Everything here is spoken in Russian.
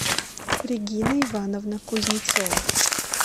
регина ивановна кузнецова